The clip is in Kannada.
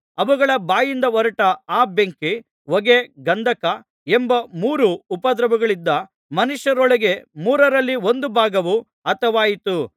ಅವುಗಳ ಬಾಯಿಂದ ಹೊರಟ ಆ ಬೆಂಕಿ ಹೊಗೆ ಗಂಧಕ ಎಂಬ ಮೂರು ಉಪದ್ರವಗಳಿಂದ ಮನುಷ್ಯರೊಳಗೆ ಮೂರರಲ್ಲಿ ಒಂದು ಭಾಗವು ಹತವಾಯಿತು